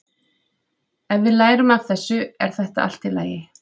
Ef við lærum af þessu er þetta allt í lagi.